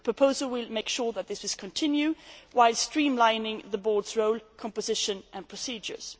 The proposal will make sure that this will continue whilst streamlining the board's role, composition and procedures.